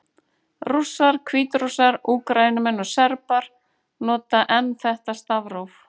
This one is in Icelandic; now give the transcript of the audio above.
Rússar, Hvítrússar, Úkraínumenn og Serbar nota enn þetta stafróf.